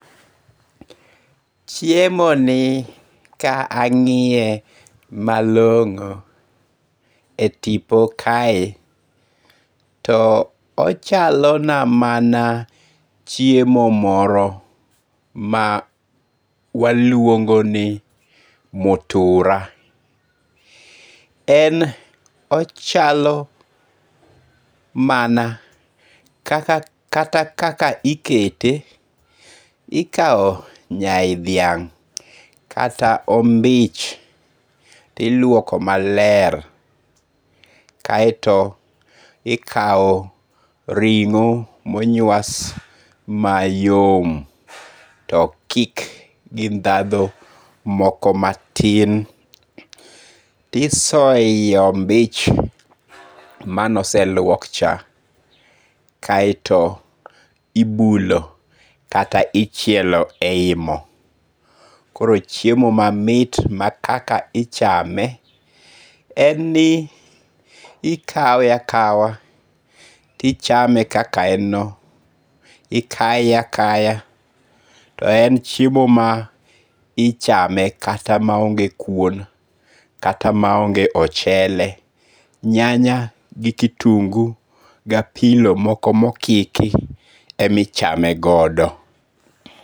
Chiemoni ka angi'ye malongo' e tipo kae to ochalona mana chiemo moro ma waluongo ni mutura, en ochalo mana kata kaka ikete, ikawo nyai dhiang' kata ombich iluoko maler kaeto ikawo ringo' monyuas mayom to okik gi ndhadho moko matin tisoye e yi ombich mane oseluok cha kaeto ibulo kata ichielo eyi mo, koro chiemo mamit ma kaka ichame en ni ikawe akawa tichame kaka en no, ikaye akaya to en chiemo ma ichame ma kata onge kuon kata ma onge ochele, nya nya gi kitungu' gi apilo moko ma okiki emi chamegodo